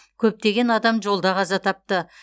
көптеген адам жолда қаза тапты